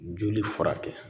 Joli furakɛ